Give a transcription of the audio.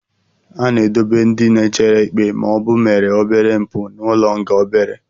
A na-edobe ndị na-echere ikpe ma ọ bụ mere obere mpụ n'ụlọ nga obere.